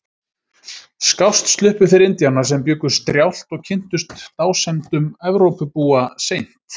Skást sluppu þeir Indíánar sem bjuggu strjált og kynntust dásemdum Evrópubúa seint.